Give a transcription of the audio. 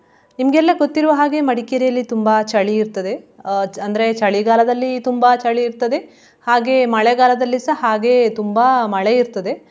ನಿಮ್ಗೆಲ್ಲಾ ಗೊತ್ತಿರುವ ಹಾಗೆ ಮಡಿಕೇರಿಯಲ್ಲಿ ತುಂಬಾ ಚಳಿ ಇರ್ತದೆ ಅಹ್ ಅಂದ್ರೆ ಚಳಿಗಾಲದಲ್ಲಿ ತುಂಬಾ ಚಳಿ ಇರ್ತದೆ, ಹಾಗೆ ಮಳೆಗಾಲದಲ್ಲಿ ಸ ಹಾಗೆ ತುಂಬಾ ಮಳೆ ಇರ್ತದೆ.